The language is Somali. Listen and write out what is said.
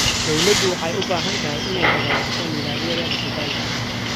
Dawladdu waxay u baahan tahay inay hagaajiso nidaamyada dhijitaalka ah.